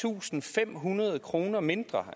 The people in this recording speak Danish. tusind fem hundrede kroner mindre